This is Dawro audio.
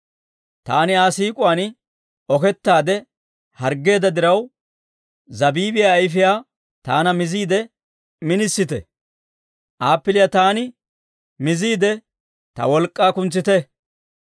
Taani Aa siik'uwaan okettaade harggeedda diraw, zabiibiyaa ayifiyaa taana miziide ministe; appiliyaa taana miziide, ta wolk'k'aa kuntsite.